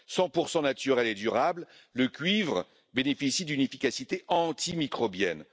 100 naturel et durable, le cuivre bénéficie d'une efficacité antimicrobienne.